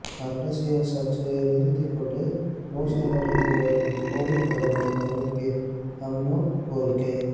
அரசியல் சர்ச்சையை நிறுத்திக்கொண்டு மோசமடைந்துவரும் கோவிட் பரவலை தடுப்பீர் அம்னோ கோரிக்கை